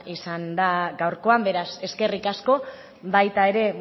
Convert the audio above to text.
izan da gaurkoan beraz eskerrik asko baita ere